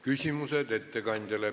Küsimused ettekandjale.